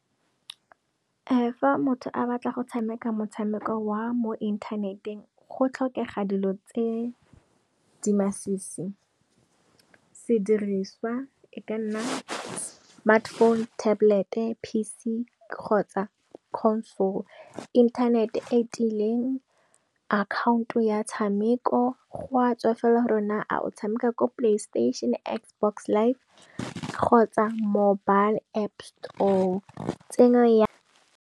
Fa motho a batla go tshameka motshameko wa mo inthaneteng, go tlhokega dilo tse di masisi. Se diriswa e ka nna smartphone, tablet-e P_C kgotsa Console. Inthanete e tiileng, account ya tshameko, go a tswa fela gore na a o tshameka ko Play station, X-Box live kgotsa mobile App store.